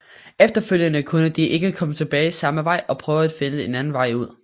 Efterfølgende kunne de ikke komme tilbage samme vej og prøvede at finde en anden vej ud